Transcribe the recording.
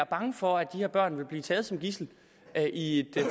bange for at de her børn vil blive taget som gidsler i et